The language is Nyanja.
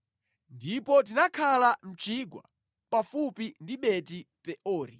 Ndipo tinakhala mʼchigwa pafupi ndi Beti-Peori.